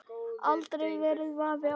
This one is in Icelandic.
Aldrei verið vafi á því.